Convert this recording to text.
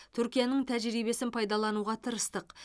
түркияның тәжірибесін пайдалануға тырыстық